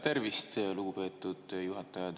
Tervist, lugupeetud juhataja!